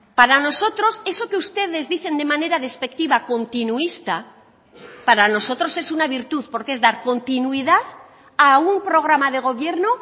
para nosotros eso que ustedes dicen de manera despectiva continuista para nosotros es una virtud porque es dar continuidad a un programa de gobierno